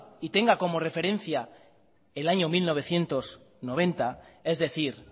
y tenga como referencia el año mil novecientos noventa es decir